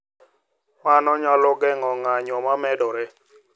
Mano nyalo geng’o ng’anjo ma medore